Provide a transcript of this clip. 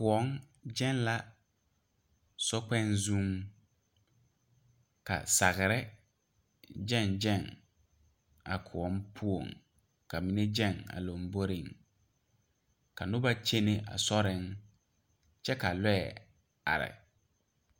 Kõɔ gane la so kpoŋ zuŋ ka sagre gage gage a kõɔ poɔ ka mine gage a lanbori ka noba kyɛne a sori kyɛ ka lɔɛ are.